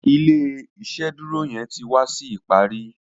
ilé iṣeduro yén tí wá sí ìparí